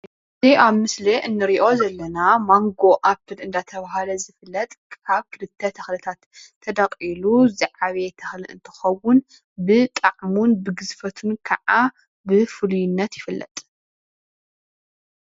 እዙይ ኣብ ምስሊ እንርእዮ ዘለና ማንጎ ኣብል እናተባህለ ዝፍለጥ ካብ ክልተተ ትክልታት ተዳቂሉዝዓበየ ተክሊ እንትከውን ብጣዕሙን ብግዝፉነቱ ከዓ ብፍሉይነት ይፍለጥ።